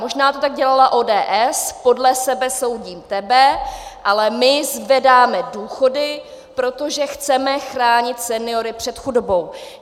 Možná to tak dělala ODS, podle sebe soudím tebe, ale my zvedáme důchody, protože chceme chránit seniory před chudobou.